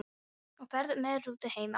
Og ferð með rútu heim aftur?